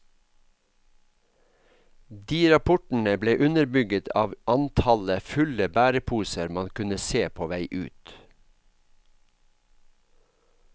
De rapportene ble underbygget av antallet fulle bæreposer man kunne se på vei ut.